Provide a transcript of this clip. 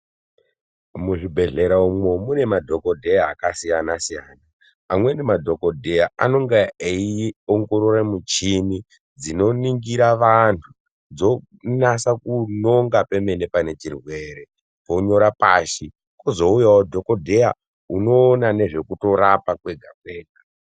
Muzvibhedhlera umwo mune madhokodheya akasiyana -siyana. Amweni madhokodheya anenge eiongorora michini dzinoningira vanhu dzonasa kunonga pemene pane chirwere vonyora pashi kwozouyawo dhokodheya unoona ngezvekurapa kwega kwega.